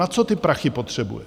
Na co ty prachy potřebuje?